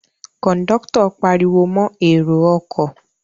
Kòńdọ́tọ̀ pariwo mọ èrò ọkọ̀